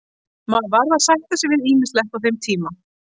Maður varð að sætta sig við ýmislegt á þeim tíma.